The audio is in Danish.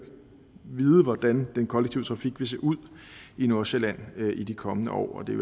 vide hvordan den kollektive trafik vil se ud i nordsjælland i de kommende år det er